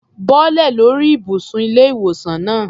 Bọ́lẹ̀ lórí ìbùsùn ilé-ìwòsaln náà.